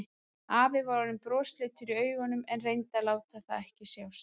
Afi var orðinn brosleitur í augunum en reyndi að láta það ekki sjást.